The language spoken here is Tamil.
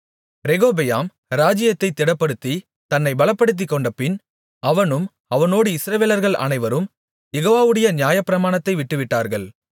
ரெகொபெயாம் ராஜ்ஜியத்தைத் திடப்படுத்தித் தன்னை பலப்படுத்திக்கொண்டபின் அவனும் அவனோடு இஸ்ரவேலர்கள் அனைவரும் யெகோவாவுடைய நியாயப்பிரமாணத்தை விட்டுவிட்டார்கள்